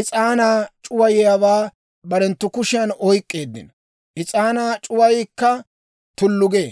is'aanaa c'uwayiyaawaa barenttu kushiyan oyk'k'eeddino; is'aanaa c'uwaykka tullu gee.